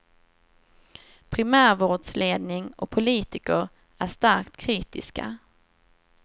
Primärvårdsledning och politiker är starkt kritiska.